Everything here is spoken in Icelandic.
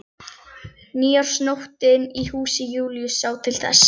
Nýársnóttin í húsi Júlíu sá til þess.